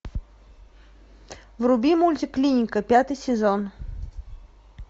вруби мультик клиника пятый сезон